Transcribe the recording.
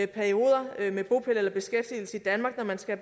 perioder med bopæl eller beskæftigelse i danmark når man skal